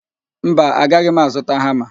Mba, agaghị m azụta hama.